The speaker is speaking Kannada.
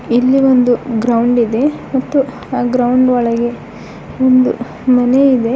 ಇಲ್ಲಿ ಒಂದು ಗ್ರೌಂಡ್ ಇದೆ ಮತ್ತು ಆ ಗ್ರೌಂಡ್ ಒಳಗೆ ಒಂದು ಮನೆ ಇದೆ.